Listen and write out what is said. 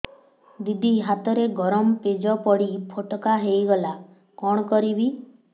ଦିଦି ହାତରେ ଗରମ ପେଜ ପଡି ଫୋଟକା ହୋଇଗଲା କଣ କରିବି